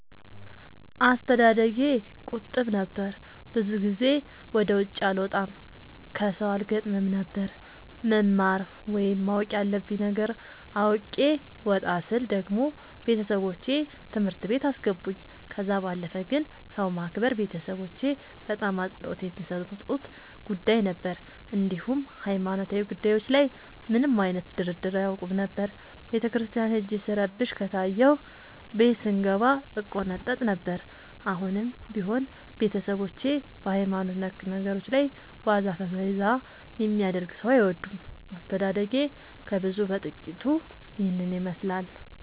አስተዳደጌ ቁጥብ ነበር። ብዙ ጊዜ ወደ ውጪ አልወጣም ከሠው አልገጥምም ነበር። መማር ወይም ማወቅ ያለብኝ ነገር አውቄ ወጣ ስል ደግሞ ቤተሠቦቼ ትምህርት ቤት አስገቡኝ። ከዛ ባለፈ ግን ሰው ማክበር ቤተሠቦቼ በጣም አፅንኦት የሚሠጡት ጉዳይ ነበር። እንዲሁም ሀይማኖታዊ ጉዳዮች ላይ ምንም አይነት ድርድር አያውቁም ነበር። ቤተክርስቲያን ሄጄ ስረብሽ ከታየሁ ቤት ስንገባ እቆነጠጥ ነበር። አሁንም ቢሆን ቤተሠቦቼ በሀይማኖት ነክ ነገሮች ላይ ዋዛ ፈዛዛ የሚያደርግ ሠው አይወዱም። አስተዳደጌ ከብዙው በጥቂቱ ይህን ይመሥላል።